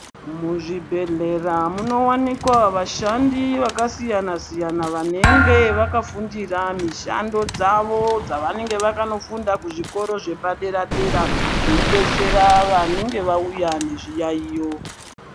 Muzvibhedhlera munowanikwa vashandi vakasiyana siyana vanenge vakafundira mishando dzavo dzavanenge vakanofunda kuzvikoro zvepadera dera veidetsera vanenge vauya nezviyaiyo.